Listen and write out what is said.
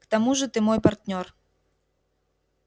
к тому же ты мой партнёр